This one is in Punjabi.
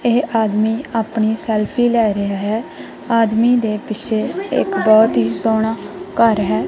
ਇਹ ਆਦਮੀ ਆਪਣੀ ਸੈਲਫੀ ਲੈ ਰਿਹਾ ਹੈ ਆਦਮੀ ਦੇ ਪਿੱਛੇ ਇਕ ਬਹੁਤ ਹੀ ਸੋਹਣਾ ਘਰ ਹੈ।